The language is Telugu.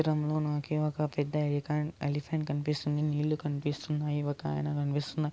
చిత్రంలో నాకి ఒక పెద్ద ఎలికాన్-ఎలిఫెంట్ కనిపిస్తుంది నిల్లు కనిపిస్తున్నాయి ఒక అయన కనిపిస్తుంది --